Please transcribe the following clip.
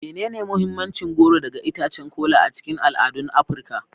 Menene mahimmancin goro daga itacen kola a cikin al'adun Afirka?